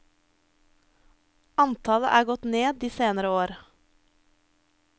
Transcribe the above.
Antallet er gått ned de senere år.